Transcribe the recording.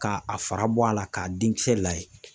Ka a fara bɔ a la k'a den kisɛ layɛ.